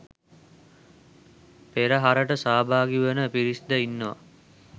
පෙරහරට සහභාගී වන පිරිස් ද ඉන්නවා